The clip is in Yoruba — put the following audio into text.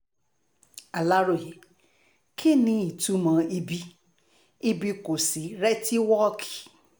aláròye kí ni ìtumọ̀ ibi ibi kò sí rètíwọ́ọ̀kì